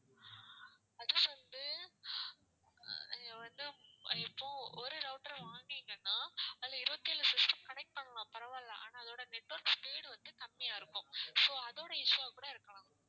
அது வந்து ஆஹ் வந்து இப்போ ஒரு router வாங்கினீங்கன்னா அதுல இருவத்து எழு system connect பண்ணலாம் பரவாயில்ல ஆனா அதோட network speed வந்து கம்மியா இருக்கும் so அதோட issue வா கூட இருக்கலாம்